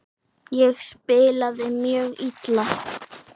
Ég spilaði mjög illa.